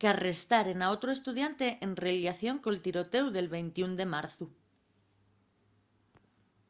qu'arrestaren a otru estudiante en rellación col tirotéu del 21 de marzu